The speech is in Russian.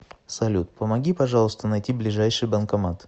салют помоги пожалуйста найти ближайший банкомат